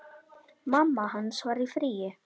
Mamma hans var í fríi.